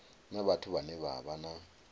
vhathu vhane vha vha na